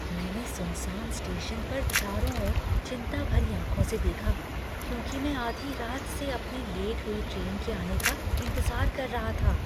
मैंने सुनसान स्टेशन पर चारों ओर चिंता भरी आँखों से देखा क्योंकि मैं आधी रात से अपनी लेट हुई ट्रेन के आने का इंतजार कर रहा था।